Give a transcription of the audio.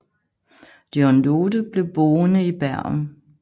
John Lothe blev boende i Bergen